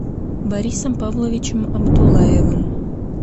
борисом павловичем абдуллаевым